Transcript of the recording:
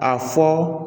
A fɔ